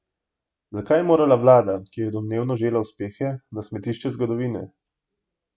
Zakaj je morala vlada, ki je domnevno žela uspehe, na smetišče zgodovine?